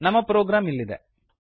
ನಮ್ಮ ಪ್ರೊಗ್ರಾಮ್ ಇಲ್ಲಿದೆ